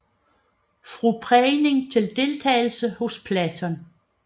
Fra prægning til deltagelse hos Platon